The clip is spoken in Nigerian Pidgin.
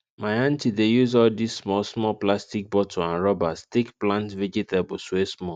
my aunty dey use all dis small small plastic bottle and rubbers take plant vegetables wey small